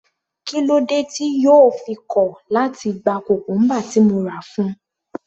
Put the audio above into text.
Kílódé tí yóò fi kọ̀ láti gba cucumber tí mo rà fún un.